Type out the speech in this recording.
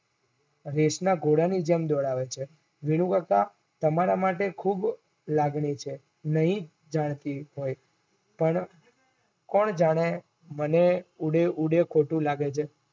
રેસના ઘોડાની જેમ દોડાવે છે. વિનુકાકા તમારા માટે ખુબ લાગણી છે નઈ જાણતી હોય પણ કોણ જાણે મને ઉડે ઉડે ખોટું લાગે છે